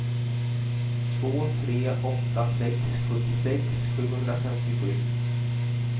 två tre åtta sex sjuttiosex sjuhundrafemtiosju